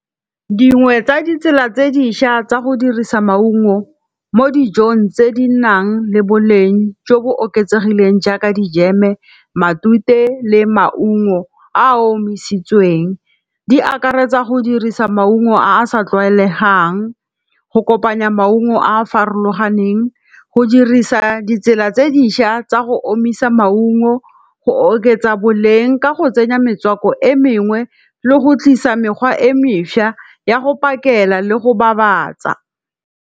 Dingwe tsa ditsela tse dišwa tsa go dirisa maungo mo dijong tse di nang le boleng jo bo oketsegileng jaaka dijeme, matute le maungo a a omisitsweng. Di akaretsa go dirisa maungo a a sa tlwaelegang. Go kopanya maungo a a farologaneng. Go dirisa ditsela tse dišwa tsa go omisa maungo. Go oketsa boleng ka go tsenya metswako e mengwe le go tlisa mekgwa e mešwa ya go pakela le go babatsa.